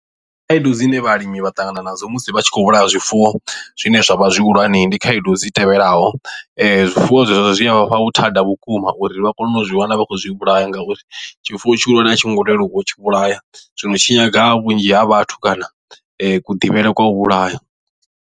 Khaedu dzine vhalimi vha ṱangana nadzo musi vha tshi khou vhulaya zwifuwo zwine zwa vha zwi hulwane ndi khaedu dzi tevhelaho. Zwifuwo zwezwo zwi a vha fha vhuthada vhukuma uri vha kone u zwi wana vha khou zwi vhulaya ngauri tshifuwo tshi hulwane a tshi ngo leluwa u tshi vhulaya zwino tshi nyaga vhunzhi ha vhathu kana kuḓivhele kwa u vhulaya.